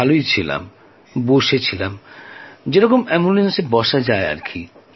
ভালোই ছিলাম বসেছিলাম যেরকম অ্যাম্বুলেন্সে বসা যায় আর কি